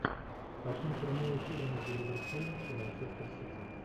хотим прямой эфир между ливерпулем и манчестер сити